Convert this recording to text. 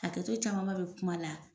Hakɛto caman ba bɛ kuma la.